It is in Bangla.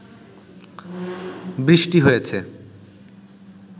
বৃষ্টি হয়েছে